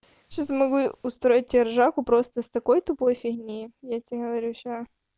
сейчас могу устроить ржаку просто с такой тупой фигни я тебе говорю сейчас